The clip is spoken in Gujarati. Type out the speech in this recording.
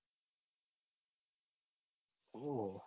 ઓહ